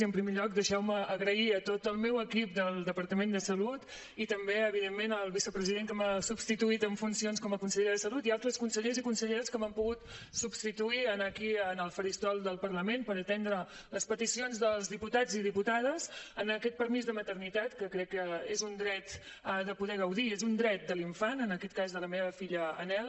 i en primer lloc deixeu me agrair a tot el meu equip del departament de salut i també evidentment al vicepresident que m’ha substituït en funcions com a conseller de salut i altres consellers i conselleres que m’han pogut substituir aquí al faristol del parlament per atendre les peticions dels diputats i diputades en aquest permís de maternitat que crec que és un dret de poder gaudir i és un dret de l’infant en aquest cas de la meva filla anhel